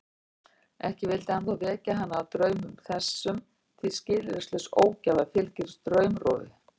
Ekki vildi hann þó vekja hana af draumum þessum því skilyrðislaus ógæfa fylgir draumrofi.